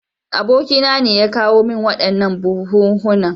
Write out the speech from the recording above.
Abokina ne ya kawo min waɗannan buhunhunan.